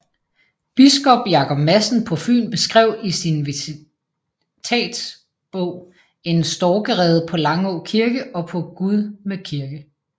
Biskop Jacob Madsen på Fyn beskrev i sin visitatsbog en storkerede på Langå Kirke og på Gudme Kirke